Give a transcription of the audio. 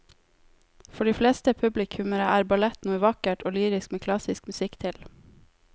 For de fleste publikummere er ballett noe vakkert og lyrisk med klassisk musikk til.